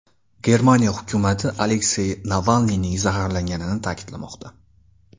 Germaniya hukumati Aleksey Navalniyning zaharlanganini ta’kidlamoqda.